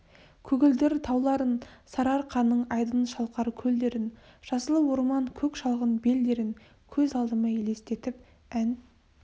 көгілдір тауларын сарыарқаның айдын шалқар көлдерін жасыл орман көк шалғын белдерін көз алдыма елестетіп ән